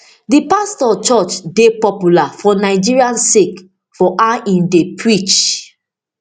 di pastor church dey popular for nigeria sake of how im dey preach